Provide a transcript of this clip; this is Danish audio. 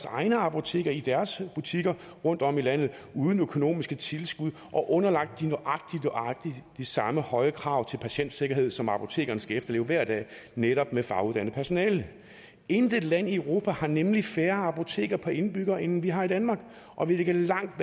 egne apoteker i deres butikker rundtom i landet uden økonomiske tilskud og underlagt nøjagtig de samme høje krav til patientsikkerhed som apotekerne skal efterleve hver dag netop med faguddannet personale intet land i europa har nemlig færre apoteker per indbygger end vi har i danmark og vi ligger langt